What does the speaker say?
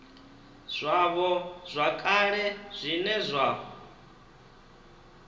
zwavho zwa kale zwine zwa